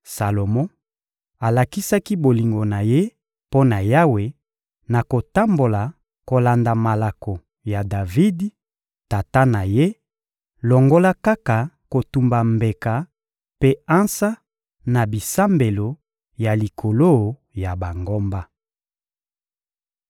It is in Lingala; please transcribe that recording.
Salomo alakisaki bolingo na ye mpo na Yawe na kotambola kolanda malako ya Davidi, tata na ye, longola kaka kotumba mbeka mpe ansa na bisambelo ya likolo ya bangomba. (2Ma 1.2-13)